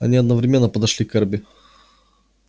они одновременно подошли к эрби